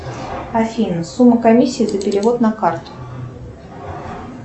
афина сумма комиссии за перевод на карту